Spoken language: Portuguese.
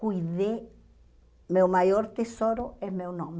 Cuidei, meu maior tesouro é meu nome.